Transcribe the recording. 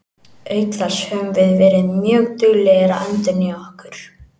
Auk þess höfum við verið mjög duglegir að endurnýja okkur.